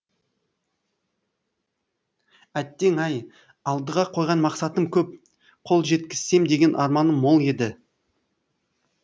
әттең ай алдыға қойған мақсатым көп қол жеткізсем деген арманым мол еді